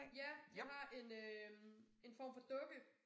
Ja jeg har en øh en form for dukke